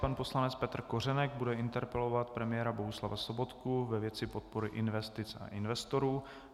Pan poslanec Petr Kořenek bude interpelovat premiéra Bohuslava Sobotku ve věci podpory investic a investorů.